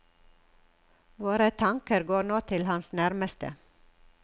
Våre tanker går nå til hans nærmeste.